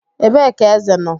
Ebee ka eze nọ?